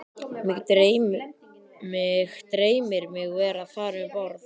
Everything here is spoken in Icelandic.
Mig dreymir mig vera þar um borð